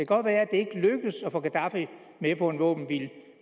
godt være at det ikke lykkes at få gaddafi med på en våbenhvile